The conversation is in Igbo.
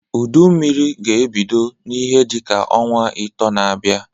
Udu Mmiri ga-ebido n'ihe dị ka ọnwa ịtọọ na-abịa.